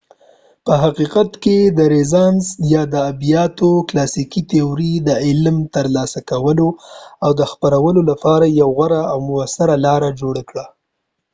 په حقیقت کې رینانس یا د ادبیاتو کلاسیکي تیورۍ د علم ترلاسه کولو او خپرولو لپاره یو غوره او مؤثره لار جوړه کړه